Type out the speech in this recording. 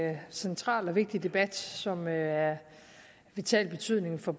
er en central og vigtig debat som er af vital betydning for